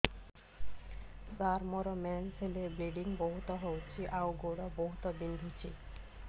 ସାର ମୋର ମେନ୍ସେସ ହେଲେ ବ୍ଲିଡ଼ିଙ୍ଗ ବହୁତ ହଉଚି ଆଉ ଗୋଡ ବହୁତ ବିନ୍ଧୁଚି